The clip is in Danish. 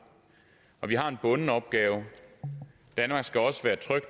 vi har en bunden opgave danmark skal også være et